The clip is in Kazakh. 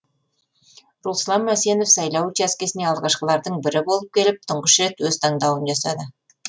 руслан мәсенов сайлау учаскесіне алғашқылардың бірі болып келіп тұңғыш рет өз таңдауын жасады